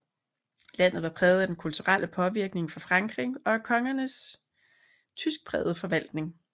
Landet var præget af den kulturelle påvirkning fra Frankrig og af kongernes tyskprægede forvaltning